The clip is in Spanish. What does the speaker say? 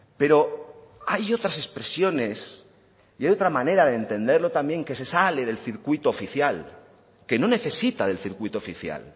pero hay otras expresiones y hay otra manera de entenderlo también que se sale del circuito oficial que no necesita del circuito oficial